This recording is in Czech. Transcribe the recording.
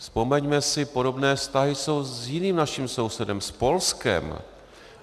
Vzpomeňme si, podobné vztahy jsou s jiným naším sousedem - s Polskem.